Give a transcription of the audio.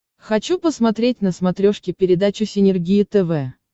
хочу посмотреть на смотрешке передачу синергия тв